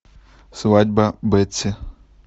свадьба бетси